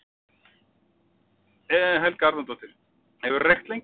Helga Arnardóttir: Hefurðu reykt lengi?